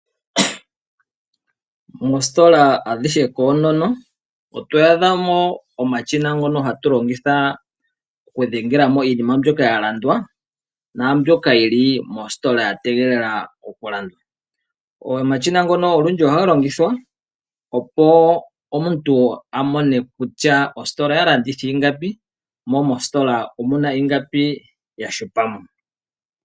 Moositola adhihe koonono oto adha mo omashina ngono hatu longitha okudhengela mo iinima mbyoka ya landwa, naambyoka yi li mositola ya tegelela okulandwa. Omashina ngono olundji ohaga longithwa opo omuntu a mone kutya ositola oya landitha ingapi, mo mositola omuna ingapi ya hupa mo.